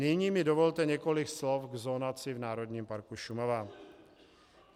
Nyní mi dovolte několik slov k zonaci v Národním parku Šumava.